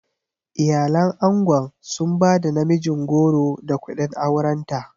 Iyalan angon sun ba da namijin goro da kuɗin aurenta.